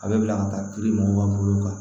A bɛ bila ka taa kiiri mɔgɔw ka bolo kan